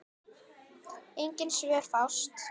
Engin svör fást.